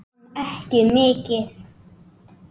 Ég kann ekki mikið.